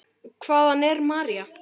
Hvaðan er María?